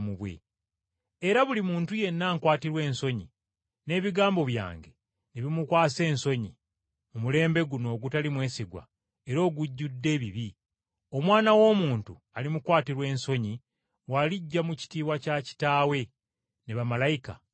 Era buli muntu yenna ankwatirwa ensonyi, n’ebigambo byange ne bimukwasa ensonyi mu mulembe guno ogutali mwesigwa era ogujjudde ebibi, Omwana w’Omuntu alimukwatirwa ensonyi bw’alijja mu kitiibwa kya Kitaawe ne bamalayika abatukuvu.”